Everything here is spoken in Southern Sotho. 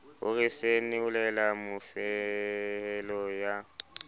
ho re senolela mofehelo ya